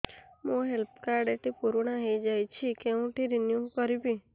ମୋ health card ଟି ପୁରୁଣା ହେଇଯାଇଛି କେଉଁଠି ରିନିଉ କରିବି